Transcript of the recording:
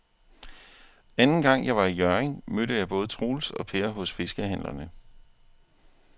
Anden gang jeg var i Hjørring, mødte jeg både Troels og Per hos fiskehandlerne.